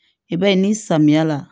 I b'a ye ni samiya la